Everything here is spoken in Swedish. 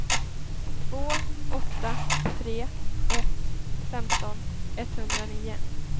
två åtta tre ett femton etthundranio